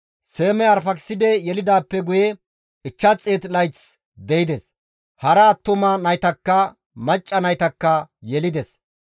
Seemey Arfaakiside yelidaappe guye 500 layth de7ides; hara attuma naytakka macca naytakka yelides.